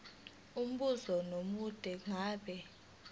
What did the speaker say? umbuzo omude ngabe